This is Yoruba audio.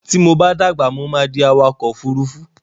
Tí mo bá dàgbà, mo fé di awakọ̀ ofúrufú